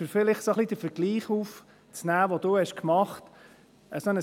Um vielleicht den Vergleich aufzunehmen, den Sie gemacht haben: